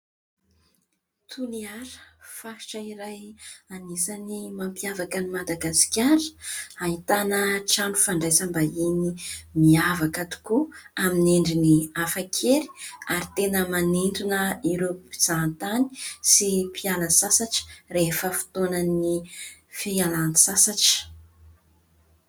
Toliara, faritra iray anisan'ny mampiavaka an'i Madagasikara, ahitana trano fandraisam-bahiny miavaka tokoa amin'ny endriny hafakely ary tena manintona ireo mpizaha tany sy mpiala sasatra rehefa fotoanan'ny fialan-tsasatra.